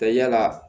Ka yala